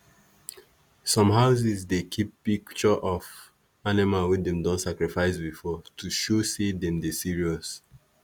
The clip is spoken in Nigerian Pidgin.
some houses dey keep pic tureof animal wey dem don sacrifice before to show say dem dey serious.